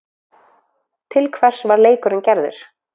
Til hvers var leikurinn gerður?